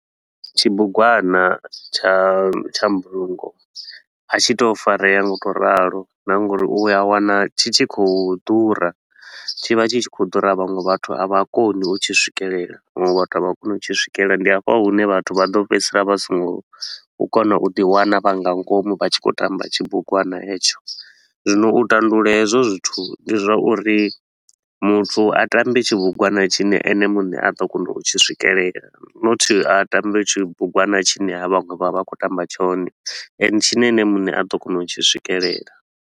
Tshibugwana tsha tsha mbulungo a tshi tou farea ngau ralo na nga uri u a wana tshi tshi khou ḓura. Tshi vha tshi khou ḓura, vhaṅwe vhathu a vha koni u tshi swikelela vhaṅwe vhathu a vha a kona u tshi swikelela. Ndi hafha hune vhathu vha ḓo fhedzisela vha so ngo u kona u ḓi wana vha nga ngomu vha tshi khou tamba tshibugwana hetsho. Zwino u tandulula hezwo zwithu ndi zwa uri muthu a ṱambe tshibugwana tshine ene muṋe a ḓo kona u tshi swikelela, nothi a tambe tshibugwana tshine havha vhaṅwe vha vha vha khou tamba tshone and tshine ene muṋe a ḓo kona u tshi swikelela.